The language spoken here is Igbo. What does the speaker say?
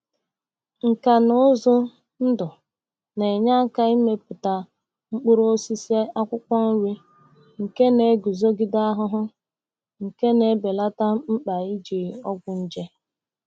Nka na ụzụ ndụ na-enye aka imepụta mkpụrụ osisi akwụkwọ nri nke na-eguzogide ahụhụ, nke na-ebelata mkpa iji ọgwụ nje.